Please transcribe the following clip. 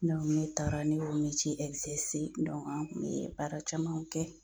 ne taara ne y'o an kun ye baara camanw kɛ.